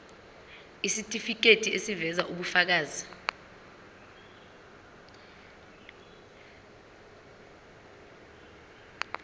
isitifiketi eziveza ubufakazi